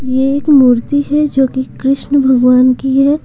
ये एक मूर्ति है जो कि कृष्ण भगवान की है।